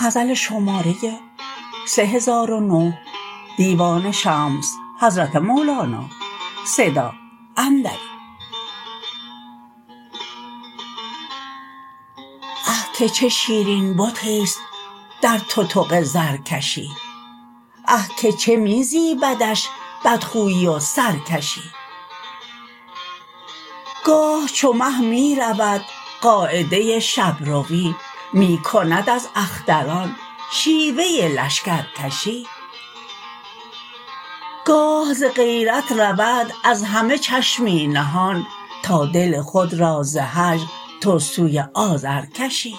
آه که چه شیرین بتیست در تتق زرکشی اه که چه می زیبدش بدخوی و سرکشی گاه چو مه می رود قاعده شب روی می کند از اختران شیوه لشکرکشی گاه ز غیرت رود از همه چشمی نهان تا دل خود را ز هجر تو سوی آذر کشی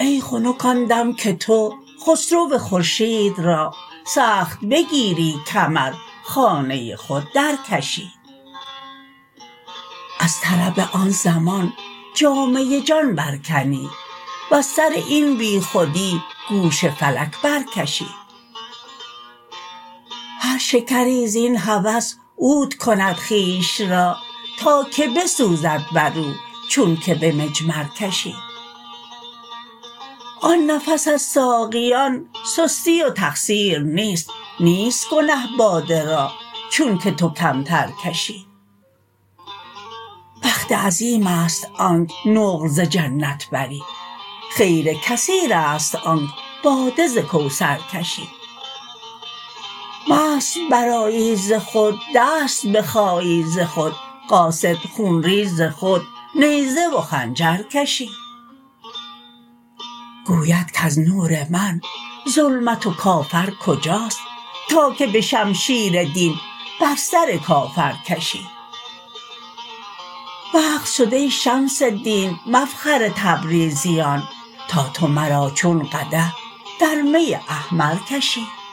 ای خنک آن دم که تو خسرو و خورشید را سخت بگیری کمر خانه خود درکشی از طرب آن زمان جامه جان برکنی وز سر این بیخودی گوش فلک برکشی هر شکری زین هوس عود کند خویش را تا که بسوزد بر او چونک به مجمر کشی آن نفس از ساقیان سستی و تقصیر نیست نیست گنه باده را چونک تو کمتر کشی بخت عظیمست آنک نقل ز جنت بری خیر کثیرست آنک باده ز کوثر کشی مست برآیی ز خود دست بخایی ز خود قاصد خون ریز خود نیزه و خنجر کشی گوید کز نور من ظلمت و کافر کجاست تا که به شمشیر دین بر سر کافر کشی وقت شد ای شمس دین مفخر تبریزیان تا تو مرا چون قدح در می احمر کشی